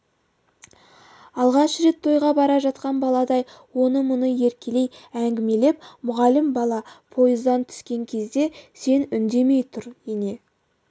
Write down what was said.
алғаш рет тойға бара жатқан баладай оны-мұны еркелей әңгімелеп мұғалім бала пойыздан түскен кезде сен үндемей тұр ене